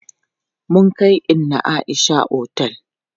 Mun kai inna Aisha otel.